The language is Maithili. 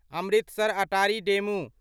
अमृतसर अटारी डेमू